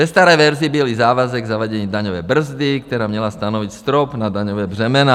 Ve staré verzi byl i závazek zavádění daňové brzdy, která měla stanovit strop na daňová břemena.